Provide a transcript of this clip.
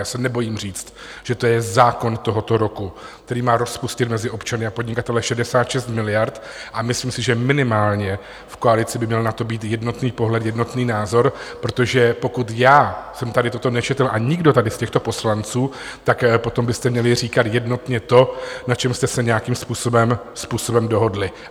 Já se nebojím říct, že to je zákon tohoto roku, který má rozpustit mezi občany a podnikatele 66 miliard, a myslím si, že minimálně v koalici by měl na to být jednotný pohled, jednotný názor, protože pokud já jsem tady toto nečetl a nikdo tady z těchto poslanců, tak potom byste měli říkat jednotně to, na čem jste se nějakým způsobem dohodli.